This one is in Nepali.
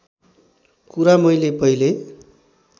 कुरा मैले पहिले